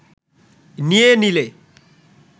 নিয়ে নিলে